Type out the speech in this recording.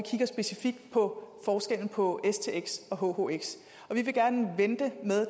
specifikt på forskellen på stx og hhx og vi vil gerne vente